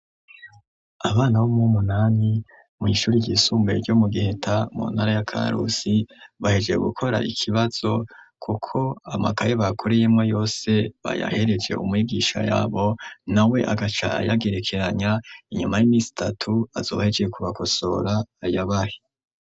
Abana bomwe umunani mw'ishuri ryisumbuye ryo mu giheta mu ntara ya karusi bahejee gukora ikibazo, kuko amakaye bakureyemo yose bayahereje umwigisha yabo na we agaca yagerekeranya inyuma y'imisi itatu azobahejeye kubakosora ayabahe.